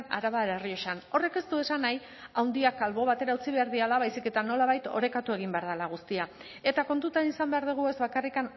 arabar errioxan horrek ez du esan nahi handiak albo batera utzi behar direla baizik eta nolabait orekatu egin behar dela guztia eta kontutan izan behar dugu ez bakarrik